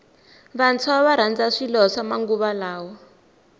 vantshwa varandza swilo swa ximanguva lawa